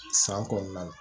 San kɔnɔna la